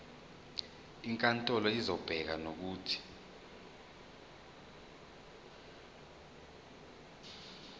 inkantolo izobeka nokuthi